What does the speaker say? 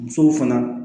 Musow fana